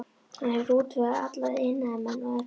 Hann hefur útvegað alla iðnaðarmenn og efni.